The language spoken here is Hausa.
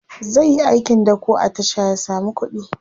zaiyi aikin dako a tasha ya samu kuɗi